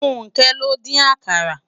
Funke ló n din àkàrá